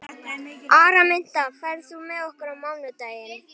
Araminta, ferð þú með okkur á mánudaginn?